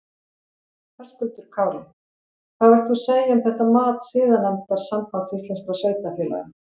Höskuldur Kári: Hvað vilt þú segja um þetta mat siðanefndar Sambands íslenskra sveitarfélaga?